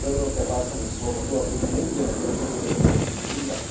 Lenže my v Európe hlásame slobodu, a preto nebudeme kresťanské posolstvo skrývať.